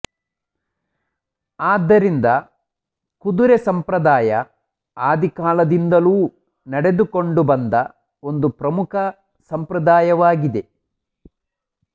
ಆದ್ದರಿಂದ ಕುದುರೆ ಸಂಪ್ರದಾಯ ಆದಿಕಾಲದಿಂದಲೂ ನಡೆದುಕೊಂಡು ಬಂದ ಒಂದು ಪ್ರಮುಖ ಸಂಪ್ರದಾಯವಾಗಿದೆ